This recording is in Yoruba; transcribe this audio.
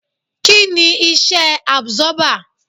Kí ni Iṣẹ́ àbsọ́bà?